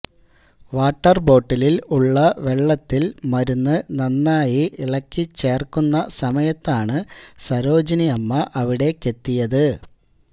water ബോട്ടിലിൽ ഉള്ള വെള്ളത്തിൽ മരുന്ന് നന്നായി ഇളക്കി ചേർക്കുന്ന സമയത്താണ് സരോജിനി അമ്മ അവിടേക്കെത്തിയത്